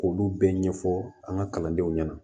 K'olu bɛɛ ɲɛfɔ an ka kalandenw ɲɛna